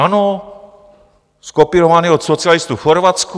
Ano, zkopírovaný od socialistů v Chorvatsku.